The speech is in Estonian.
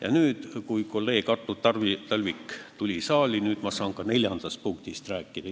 Ja nüüd, kui kolleeg Artur Talvik on saali tulnud, ma saan ka neljandast punktist rääkida.